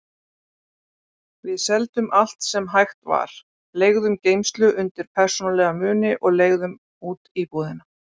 Við seldum allt sem hægt var, leigðum geymslu undir persónulega muni og leigðum út íbúðina.